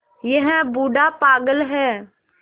यह बूढ़ा पागल है